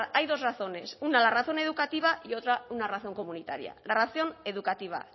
hay dos razones una la razón educativa y otra una razón comunitaria la razón educativa